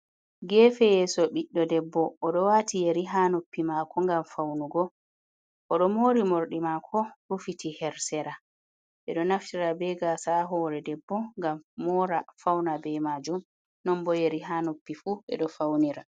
Gefe yeso biɗdo debbo odo wati yeri ha noppi mako ngam faunugo odo mori mordi mako rufiti ha sera ɓe do naftira be gasa a hore debbo ngam mora fauna be majum non bo yeri ha noppi fu be do faunira.